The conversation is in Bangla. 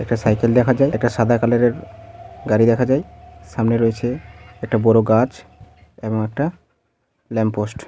একটা সাইকেল দেখা যায় এটা সাদা কালার -এর গাড়ি দেখা যায়. সামনে রয়েছে একটা বড় গাছ এবং একটা ল্যাম্প পোস্ট ।